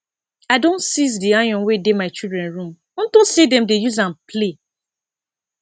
i don seize the iron wey dey my children room unto say dem dey use am play